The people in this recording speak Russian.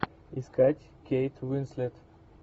искать кейт уинслет